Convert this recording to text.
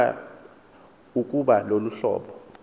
ukuba lolu hlobo